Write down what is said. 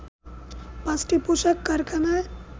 ৫টি পোশাক কারখানায়